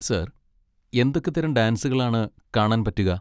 Sir, എന്തൊക്കെ തരം ഡാൻസുകളാണ് കാണാൻ പറ്റുക?